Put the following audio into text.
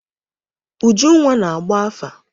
Ujunwa na-agba afa.